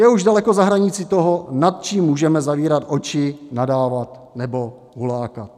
Je už daleko za hranicí toho, nad čím můžeme zavírat oči, nadávat nebo hulákat.